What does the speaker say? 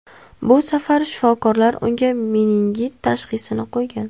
Bu safar shifokorlar unga meningit tashxisini qo‘ygan.